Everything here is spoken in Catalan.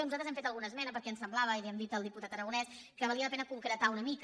nosaltres hem fet alguna esmena perquè ens sembla·va i ho hem dit al diputat aragonès que valia la pe·na concretar una mica